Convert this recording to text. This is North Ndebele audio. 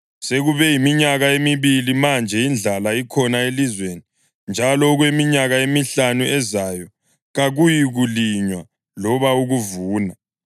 Sekube yiminyaka emibili manje indlala ikhona elizweni, njalo okweminyaka emihlanu ezayo kakuyikulinywa loba ukuvuna.